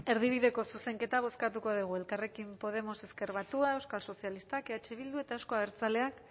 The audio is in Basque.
erdibideko zuzenketa bozkatuko dugu elkarrekin podemos ezker batua euskal sozialistak eh bildu eta euzko abertzaleak